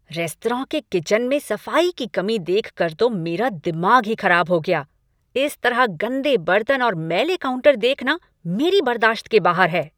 Restaurant के kitchen में सफाई की कमी देखकर तो मेरा दिमाग ही खराब हो गया। इस तरह गंदे बर्तन और मैले काउंटर देखना मेरी बर्दाश्त के बाहर है।